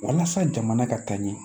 Walasa jamana ka taa ɲɛ